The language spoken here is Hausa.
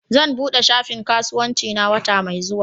Zan buɗe shafin kasuwancina wata mai zuwa